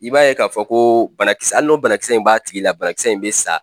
I b'a ye k'a fɔ ko banakisɛ hali n'o banakisɛ in b'a tigi la banakisɛ in bɛ sa.